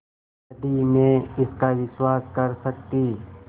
यदि मैं इसका विश्वास कर सकती